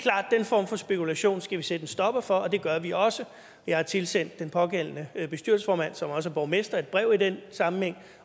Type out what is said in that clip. er form for spekulation skal vi sætte en stopper for og det gør vi også jeg har tilsendt den pågældende bestyrelsesformand som også er borgmester et brev i den sammenhæng